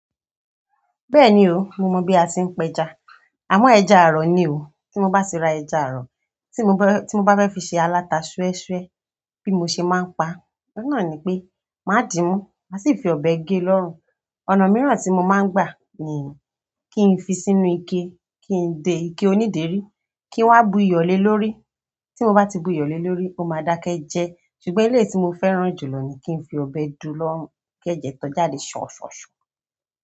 Bẹ́ẹ̀ni o, mo mọ̀ bí a ṣe ń pẹja. Àmọ ẹja àrọ̀ ni o. Tí mo bá ti ra ẹja àrọ̀ tí mo bá fẹ́ fi ṣe aláta súẹ́súẹ́ bí mo ṣe máa ń pa, oun na ní pe, máa dìímú, màá sì fi ọ̀bẹ gé lọ́rùn. Ọ̀nà mìíràn tí mo máa ń gbà nì kí n fi sínú ike kí ndè ike oníderí, kí n wá bu iyọ̀ le lórí. Tí mo bá ti bu iyọ̀le lórí, ó máa dákẹ́ jẹ ṣùgbọ́n ilé tí mo fẹ́ràn jùlọ ni kí n fi ọ̀bẹ du lọrun kẹ́jẹ́ tọ jáde ṣọ̀ṣọ̀ṣọ̀.